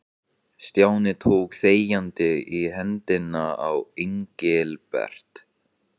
Stjáni tók þegjandi í hendina á Engilbert.